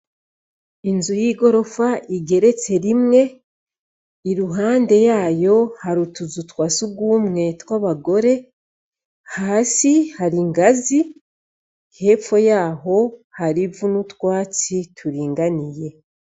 Inzu y'i gorofa igeretse rimwe i ruhande yayo harutuzutwasi rwumwe tw'abagore hasi hari ingazi hepfo yaho harivu n'utwatsi turinganiye.